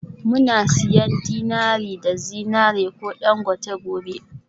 Muna siyan dinari na zinariya ko dangote gobe?